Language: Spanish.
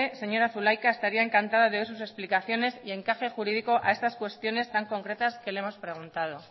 señora zulaika estaría encantada de ver sus explicaciones y encaje jurídico a estas cuestiones tan concretas que le hemos preguntado